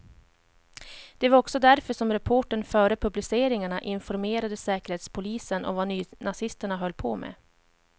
Det var också därför som reportern före publiceringarna informerade säkerhetspolisen om vad nynazisterna höll på med.